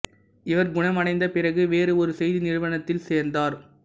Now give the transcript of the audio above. இவர் குணமடைந்த பிறகு வேறு ஒரு செய்தி நிறுவனத்தில் சேர்ந்தார்